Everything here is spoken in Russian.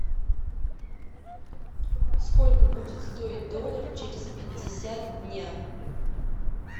сколько будет стоить доллар через пятьдесят дня